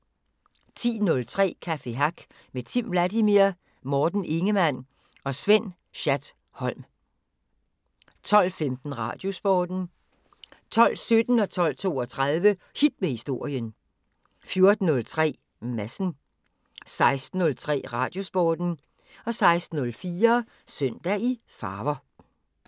10:03: Café Hack med Timm Vladimir, Morten Ingemann og Svend Schat-Holm 12:15: Radiosporten 12:17: Hit med Historien 12:32: Hit med Historien 14:03: Madsen 16:03: Radiosporten 16:04: Søndag i farver